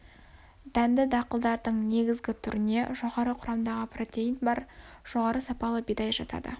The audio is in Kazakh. дәнді дақылдардың негізгі түріне жоғары құрамдағы протеин бар жоғары сапалы бидай жатады